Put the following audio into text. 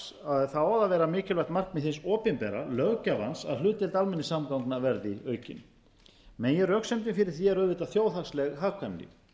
á það að vera mikilvægt markmið hins opinbera löggjafans að hlutdeild almenningssamgangna verði aukin meginröksemdin fyrir því er auðvitað þjóðhagsleg hagkvæmni